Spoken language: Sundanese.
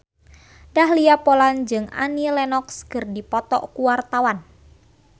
Dahlia Poland jeung Annie Lenox keur dipoto ku wartawan